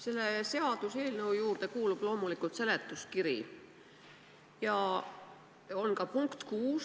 Selle seaduseelnõu juurde kuulub loomulikult seletuskiri.